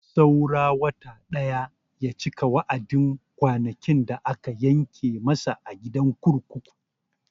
Saura wata ɗaya ya cika wa'adin kwanakin da aka yanke masa a gidan kurkuku.